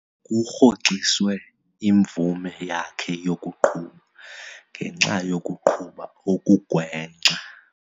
Kurhoxiswe imvume yakhe yokuqhuba ngenxa yokuqhuba okugwenxa.